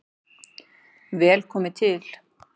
Vel komi til